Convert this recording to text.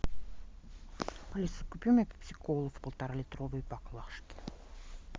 алиса купи мне пепси колу в полтора литровой боклажке